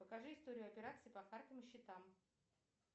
покажи историю операций по картам и счетам